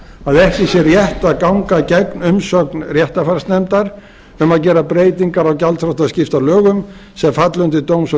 að ekki sé rétt að ganga gegn umsögn réttarfarsnefndar um að gera breytingar á gjaldþrotaskiptalögum sem falli undir dóms og